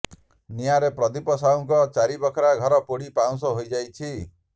ନିଆଁରେ ପ୍ରଦୀପ ସାହୁଙ୍କ ଚାରି ବଖରା ଘର ପୋଡ଼ି ପାଉଁଶ ହୋଇଯାଇଛି